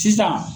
Sisan